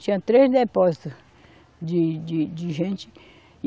Tinha três depósito de, de de gente. e